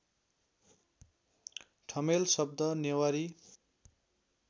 ठमेल शब्द नेवारी